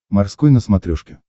морской на смотрешке